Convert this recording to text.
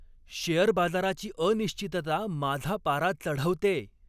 Share बाजाराची अनिश्चितता माझा पारा चढवतेय!